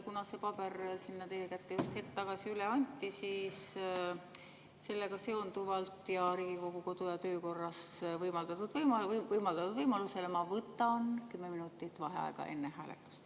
Kuna see paber teile just hetk tagasi üle anti, siis sellega seonduvalt ja Riigikogu kodu‑ ja töökorra alusel ma võtan 10 minutit vaheaega enne hääletust.